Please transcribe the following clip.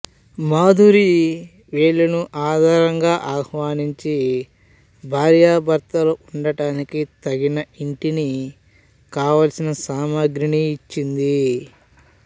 మాధురి వీళ్ళను ఆదరంగా ఆహ్వానించి భార్యాభర్తలు ఉండటానికి తగిన ఇంటిని కావలసిన సామగ్రిని ఇచ్చింది